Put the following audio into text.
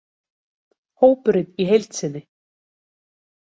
Hópurinn í heild sinni: